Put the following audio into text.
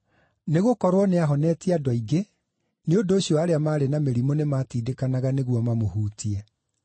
Nĩgũkorwo nĩahonetie andũ aingĩ, nĩ ũndũ ũcio arĩa maarĩ na mĩrimũ nĩmatindĩkanaga nĩguo mamũhutie.